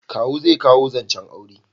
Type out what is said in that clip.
Kawu zai kawo zancen aure